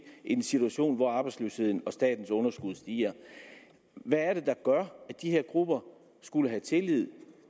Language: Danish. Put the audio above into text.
en situation hvor arbejdsløsheden og statens underskud stiger hvad er det der gør at de her grupper skulle have tillid